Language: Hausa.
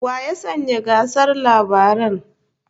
Wa ya sanya gasar labaran?